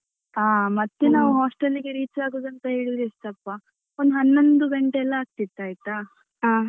ಹ ಮತ್ತೆ ನಾವು hostel ಗೆ reach ಆಗುದಂತ ಹೇಳಿದ್ರೆ ಎಷ್ಟಪ್ಪಾ ಒಂದು ಹನ್ನೊಂದು ಗಂಟೆಯೆಲ್ಲಾ ಆಗ್ತಿತ್ತು ಆಯ್ತಾ.